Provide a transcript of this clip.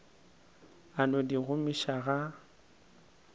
a no di gomiša ga